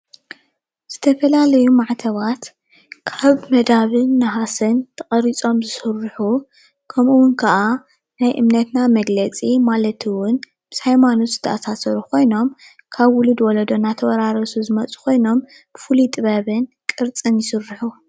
ዝተፈላለዩ ማዕተባት ካብ መዳብን ነሃስን ተቀሪፆመ ዝስሩሑ ከምኡ እውን ከዓ ናይ እምነትና መግለፂ ማለት እውን ምስ ሃይማኖት ዝተአሳሰሩ ኮይኖም ካብ ውልድ ወለዶ እናተዋራረሱ ዝመፁ ኮይኖም ቡፉሉይ ጥበብ ቅርፅን ይስሩሑ፡፡